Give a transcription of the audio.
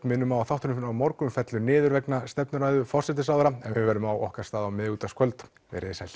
minnum á að þátturinn á morgun fellur niður vegna stefnuræðu forsætisráðherra en verðum á okkar stað á miðvikudagskvöld veriði sæl